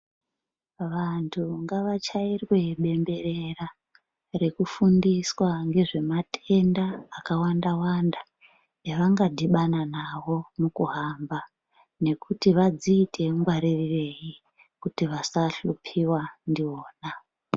Vandu ngavachairwe bemberera rekufundiswa ngezvematenda akawanda wanda evangadhibana nawo mukuhamba nekuti vadziite ngwarirei kuti vasahlupiwa ndiwona.